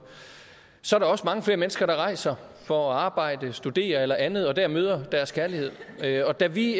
så er der også mange flere mennesker der rejser for at arbejde studere eller andet og møder deres kærlighed dér og da vi